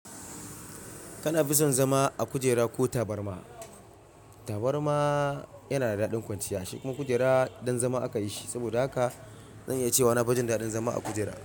Kana fi son zama a kujera ko tabarma? Tabarma yana da daɗin kwanciya, shi kuma kujera don zama akayishi. Saboda haka zan iya cewa nafi jin daɗin zama a kujera.